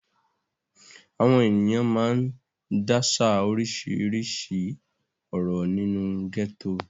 Àwọn ènìyàn máa ń dáṣà oríṣiríṣi ọ̀rọ̀ nínú gẹ́tò.